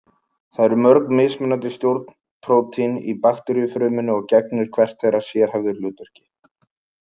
Það eru mörg mismunandi stjórnprótín í bakteríufrumunni og gegnir hvert þeirra sérhæfðu hlutverki.